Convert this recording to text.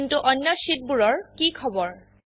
কিন্তু অন্য শীট বোৰৰ কি খবৰ160